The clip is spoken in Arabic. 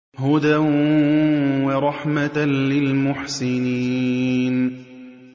هُدًى وَرَحْمَةً لِّلْمُحْسِنِينَ